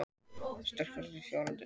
Sterkari og fljótari